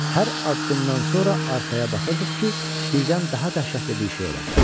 Hər addımdan sonra arxaya baxırdıq ki, birdən daha dəhşətli bir şey ola bilər.